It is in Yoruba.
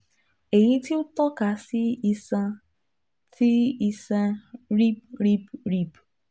eyi ti o tọka si iṣan ti iṣan rib rib rib